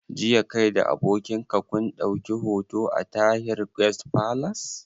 Jiya kai da abokin ka kun ɗauki hoto a Tahir Guest Palace